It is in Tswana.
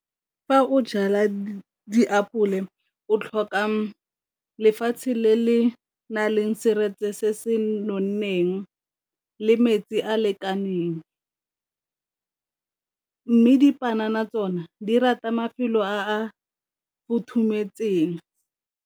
Fa o jala diapole o tlhoka lefatshe le le na leng seretse se se nonneng le metsi a lekaneng, mme dipanana tsona di rata mafelo a futhumetseng.